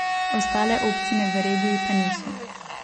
Ostale občine v regiji ga niso.